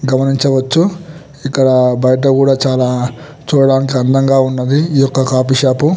గమనించవచ్చు ఇక్కడ బయట కూడా చాల చూడడానికి అందంగా ఉన్నవి ఇది ఒక కాఫ్ఫే షాప్ .